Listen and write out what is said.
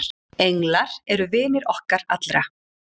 Englar eru vinir okkar allra.